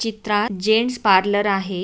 चित्रात gents parlour आहे.